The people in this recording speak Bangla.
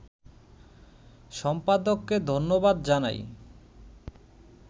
সম্পাদককে ধন্যবাদ জানাই